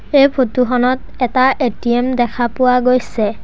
এই ফটো খনত এটা এ_টি_এম দেখা পোৱা গৈছে।